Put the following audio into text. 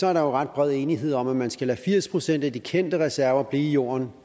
er der jo ret bred enighed om at man skal lade firs procent af de kendte reserver blive i jorden